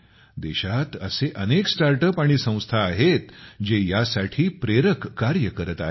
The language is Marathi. देशात असे अनेक स्टार्ट अप आणि संस्था आहेत जे यासाठी प्रेरक कार्य करत आहेत